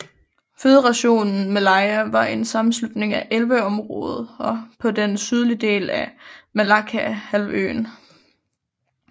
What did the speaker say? Føderationen Malaya var en sammenslutning af 11 områder på den sydlige del af Malaccahalvøen